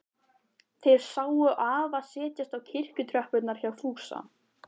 Þær sáu afa setjast á kirkjutröppurnar hjá Fúsa.